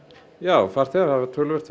já farþegar hafa töluvert